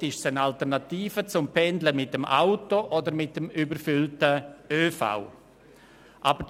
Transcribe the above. Somit sind sie eine Alternative zum Pendeln mit dem Auto oder mit dem überfüllten Öffentlichen Verkehr (ÖV).